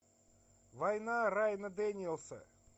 война райана дэниелса